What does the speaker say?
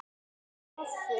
Síðast en ekki síst.